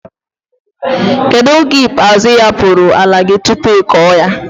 kedu oge ikpazu iapuru ala gi tupu iko ya?